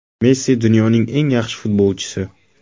Messi dunyoning eng yaxshi futbolchisi.